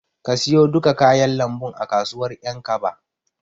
Ka siyo duka kayan lambun a kasuwar Ƴankaba.